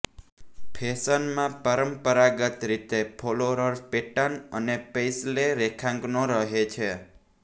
ફેશનમાં પરંપરાગત રીતે ફ્લોરલ પેટર્ન અને પેઇસ્લે રેખાંકનો રહે છે